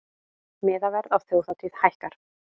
Miðaverð á þjóðhátíð hækkar